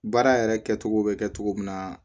Baara yɛrɛ kɛcogo bɛ kɛ cogo min na